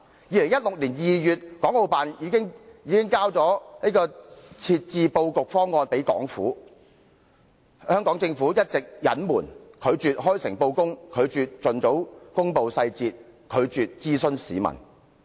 2016年2月，國務院港澳事務辦公室已提交設置布局方案予香港政府，但政府一直隱瞞，拒絕開誠布公和盡早公布細節，拒絕諮詢市民。